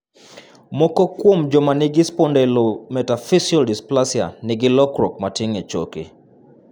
Moko kuom joma nigi spondlometaphyseal dysplasia nigi lokruok matin e choke.